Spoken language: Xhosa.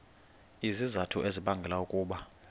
izizathu ezibangela ukuba